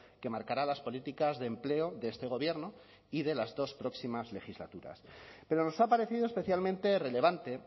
que marcará las políticas de empleo de este gobierno y de las dos próximas legislaturas pero nos ha parecido especialmente relevante